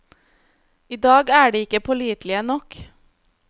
I dag er de ikke pålitelige nok.